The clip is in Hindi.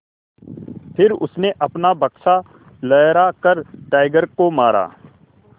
फिर उसने अपना बक्सा लहरा कर टाइगर को मारा